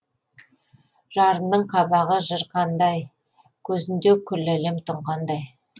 жарымның қабағы жыр қандай көзінде күллі әлем тұнғандай